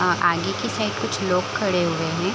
आ आगे की साइड कुछ लोग खड़े हुए है ।